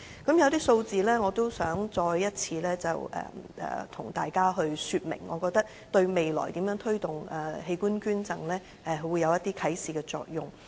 我想再次跟大家說明一些數字，我覺得對未來如何推動器官捐贈會有啟示作用。